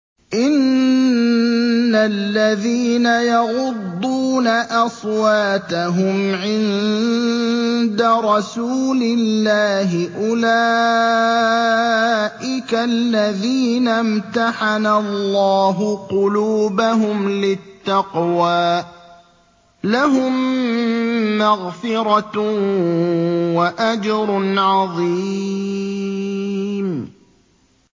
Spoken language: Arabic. إِنَّ الَّذِينَ يَغُضُّونَ أَصْوَاتَهُمْ عِندَ رَسُولِ اللَّهِ أُولَٰئِكَ الَّذِينَ امْتَحَنَ اللَّهُ قُلُوبَهُمْ لِلتَّقْوَىٰ ۚ لَهُم مَّغْفِرَةٌ وَأَجْرٌ عَظِيمٌ